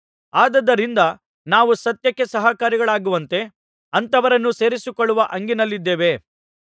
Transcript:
ಆದುದರಿಂದ ನಾವು ಸತ್ಯಕ್ಕೆ ಸಹಕಾರಿಗಳಾಗುವಂತೆ ಅಂಥವರನ್ನು ಸೇರಿಸಿಕೊಳ್ಳುವ ಹಂಗಿನಲ್ಲಿದ್ದೇವೆ